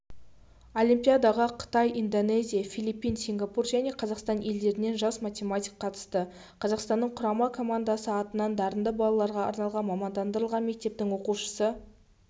олимпиадаға қытай индонезия филиппин сингапур және қазақстан елдерінен жас математик қатысты қазақстанның құрама командасы атынан дарынды балаларға арналған мамандандырылған мектептің оқушысы